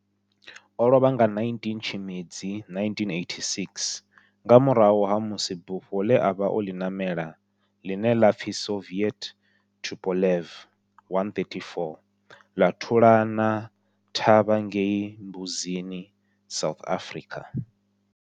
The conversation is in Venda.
O lovha nga 19 Tshimedzi 1986 nga murahu ha musi bufho le a vha o li namela, line la pfi Soviet Tupolev 134 la thulana thavha ngei Mbuzini, South Africa.